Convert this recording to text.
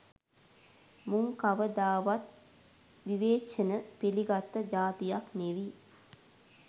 මුං කවදාවත් විවේචන පිළිගත්ත ජාතියක් නෙවි.